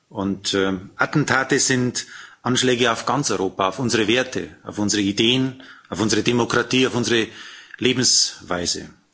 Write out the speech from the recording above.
Und Attentate sind Anschläge auf ganz Europa, auf unsere Werte, auf unsere Ideen, auf unsere Demokratie, auf unsere Lebensweise.